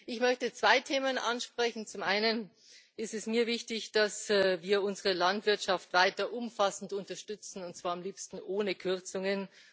Ich möchte zwei Themen ansprechen Zum einen ist es mir wichtig, dass wir unsere Landwirtschaft weiter umfassend unterstützen, und zwar am liebsten ohne Kürzungen.